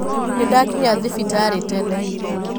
Ndakinya thibitarĩtene.